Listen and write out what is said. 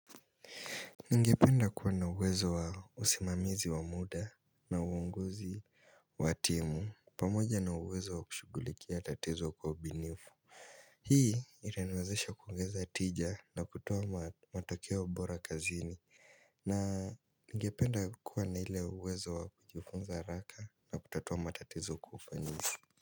Ningependa kuwa na uwezo wa usimamizi wa muda na uongozi watimu pamoja na uwezo wa kushugulikia tatizo kwa ubinifu. Hii itaniwezesha kuongeza tija na kutowa matokea bora kazini. Na ningependa kuwa na ile uwezo wa kujifunza haraka na kututuwa matatizo kuhusu.